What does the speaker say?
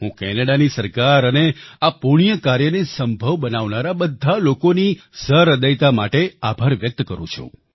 હું કેનેડાની સરકાર અને આ પુણ્યકાર્યને સંભવ બનાવનારા બધા લોકોની સહ્રદયતા માટે આભાર વ્યક્ત કરું છું